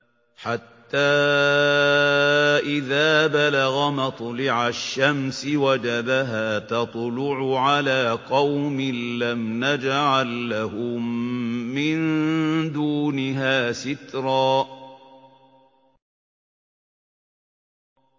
حَتَّىٰ إِذَا بَلَغَ مَطْلِعَ الشَّمْسِ وَجَدَهَا تَطْلُعُ عَلَىٰ قَوْمٍ لَّمْ نَجْعَل لَّهُم مِّن دُونِهَا سِتْرًا